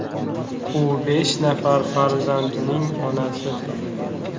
U besh nafar farzandning onasi.